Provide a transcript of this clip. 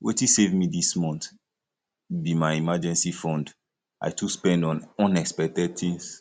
wetin save me dis month be my emergency fund i too spend on unexpected things